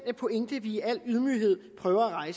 pointe vi i al ydmyghed prøver at